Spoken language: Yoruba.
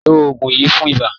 Lo oògùn yìí fún ibà.